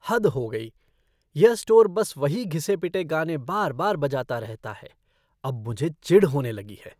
हद हो गई! यह स्टोर बस वही घिसे पिटे गाने बार बार बजाता रहता है। अब मुझे चिढ़ होने लगी है।